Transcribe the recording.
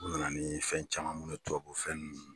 U nana ni fɛn caman minnu ye tubabu fɛn ninnu.